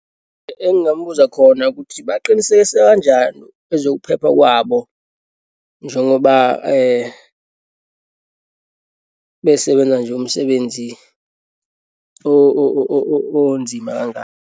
Engingambuza khona ukuthi baqinisekise kanjani ezokuphepha kwabo njengoba besebenza nje umsebenzi onzima kangaka.